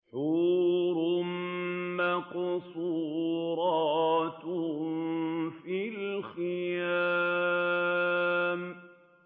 حُورٌ مَّقْصُورَاتٌ فِي الْخِيَامِ